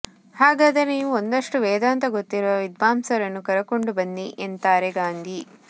ಹಾಗಾದರೆ ನೀವು ಒಂದಷ್ಟು ವೇದಾಂತ ಗೊತ್ತಿರುವ ವಿದ್ವಾಂಸರನ್ನು ಕರಕೊಂಡು ಬನ್ನಿ ಎಂತಾರೆ ಗಾಂಧಿ